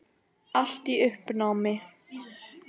Allt í uppnámi.